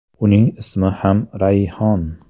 Uning ismi ham Rayhon.